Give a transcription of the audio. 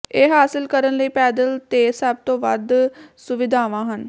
ਇਹ ਹਾਸਲ ਕਰਨ ਲਈ ਪੈਦਲ ਤੇ ਸਭ ਤੋਂ ਵੱਧ ਸੁਵਿਧਾਵਾਂ ਹਨ